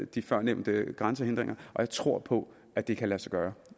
de førnævnte grænsehindringer og jeg tror på at det kan lade sig gøre